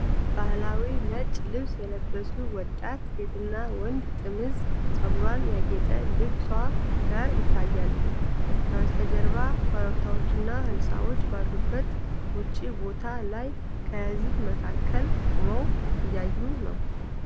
ባህላዊ ነጭ ልብስ የለበሱ ወጣት ሴትና ወንድ ጥምዝ ፀጉሯና ያጌጠ ልብሷ ጋር ይታያሉ። ከበስተጀርባ ኮረብታዎችና ሕንፃዎች ባሉበት ውጪ ቦታ ላይ ከሕዝብ መካከል ቁመው እያዩ ነው።